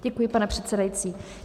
Děkuji, pane předsedající.